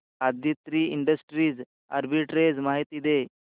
Aditri industries arbitrage माहिती दे